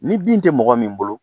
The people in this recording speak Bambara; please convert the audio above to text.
Ni bin tɛ mɔgɔ min bolo.